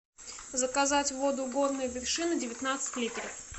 заказать воду горные вершины девятнадцать литров